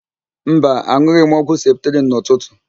Mba, an̄ụghị m ọgwụ septrịn n'ụtụtụ.